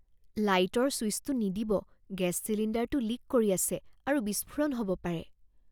লাইটৰ চুইচটো নিদিব। গেছ চিলিণ্ডাৰটো লিক কৰি আছে আৰু বিস্ফোৰণ হ'ব পাৰে।